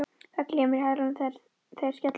Það glymur í hælunum þegar þeir skella niður.